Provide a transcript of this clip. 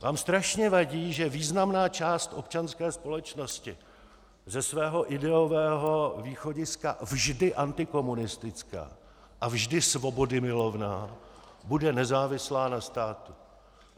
Vám strašně vadí, že významná část občanské společnosti, ze svého ideového východiska vždy antikomunistická a vždy svobodymilovná, bude nezávislá na státu.